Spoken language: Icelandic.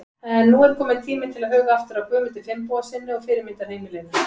En nú er tími til kominn til að huga aftur að Guðmundi Finnbogasyni og fyrirmyndarheimilinu.